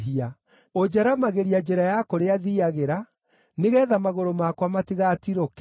Ũnjaramagĩria njĩra ya kũrĩa thiiagĩra, nĩgeetha magũrũ makwa matigatirũke.